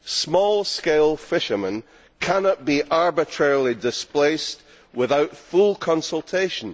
Small scale fishermen cannot be arbitrarily displaced without full consultation.